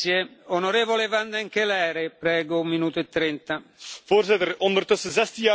Voorzitter, ondertussen 16 jaar geleden werd de euro ingevoerd in 12 landen van de Europese Unie.